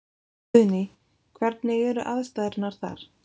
Guðný: Hvernig eru aðstæðurnar þar?